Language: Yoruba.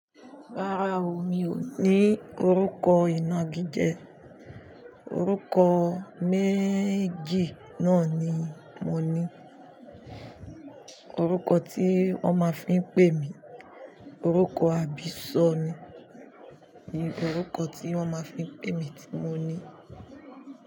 Rárá o, mi ò ní orúkọ ìna gidi jẹ. Orúkọ méjì náà ni mo ní. Orúkọ tí wón máa ń fi ń pè mí, orúkọ àbíṣọ mi orúkọ tí wón máa ń fi ń pè mí tí mo ní.